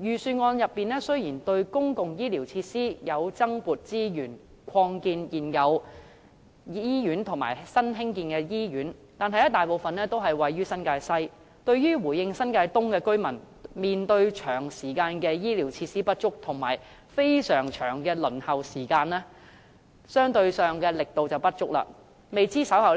預算案雖然為公共醫療設施增撥資源，擴建現有醫院及興建新醫院，但大部分均位於新界西，在回應新界東居民長時間面對醫療設施不足及輪候時間極長的問題方面，相對上力度不足，未知政府稍後